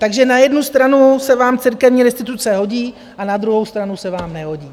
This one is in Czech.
Takže na jednu stranu se vám církevní restituce hodí a na druhou stranu se vám nehodí.